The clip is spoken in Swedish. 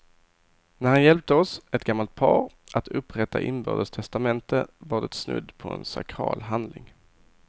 När han hjälpte oss, ett gammalt par, att upprätta inbördes testamente, var det snudd på en sakral handling.